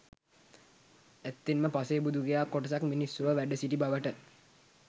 ඇත්තෙන්ම පසේබුදුවරු කියා කොටසක් මිනිස් ලොව වැඩසිටිය බවට